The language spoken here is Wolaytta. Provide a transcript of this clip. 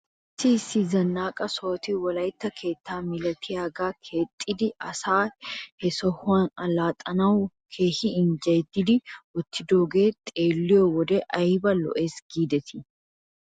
Issi issi zannaqqa sohoti wolaytta keettaa milatiyaagaa keexxidi asay he sohuwan allaxxanaw keehi injjeyidi wottidoogee xeelliyoo wodiyan ayba lo'es giidetii?